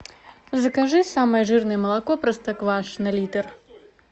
закажи самое жирное молоко простоквашино литр